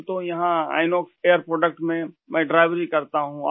ہم تو یہاں آئینوکس ایئر پروڈکٹ میں ڈرائیوری کرتا ہوں